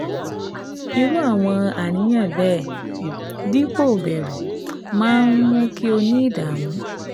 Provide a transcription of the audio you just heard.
Irú àwọn àníyàn bẹ́ẹ̀, dípò bẹru máa ń mú kí o ní ìdààmú